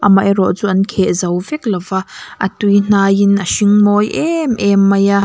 a mah erawh chu an kheh zo vek lo a a tui hnaiin a hring mawi em em mai a.